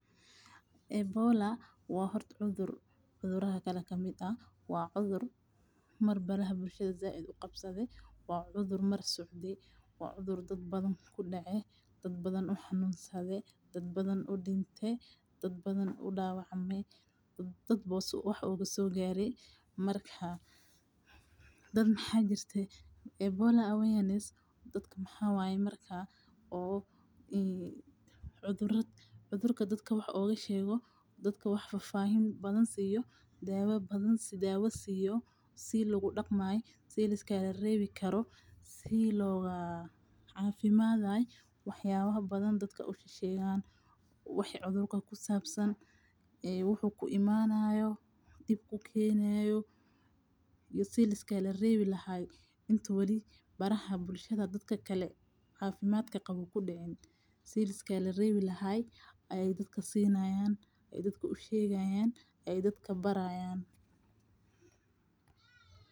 Ebola waa hort cudur, cuduraha kale kamid ah waa cudur mar baraha bulshada said u qabsade wa cudur mar socde wa cudur dad badan kudece, dadbadan u xanunsada, dadbadan u dinte, dadbadanka dawacme dadba si wax ogasogare marka dad mxajirte ebola aweaness dadka mxa waye marka o cudurka wax ogashego, dadka wax fafahin siyo dawa siyo si u daqmay, si liskaga rebikaro, si loga cafimaday, wax yawaha badan dadka sheshegan wixi cudur o kusabsan ee wxu kuimanayo dip kukenayo iyo si liskaga rebihilahay intu wali baraha bulshada dadka kale cafimadka qabo u kudicin, siliska rebe lahay ay dadaka sinayan ay dadka u shagayan ay dadka barayan.